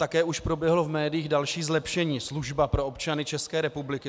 Také už proběhlo v médiích další zlepšení, služba pro občany České republiky.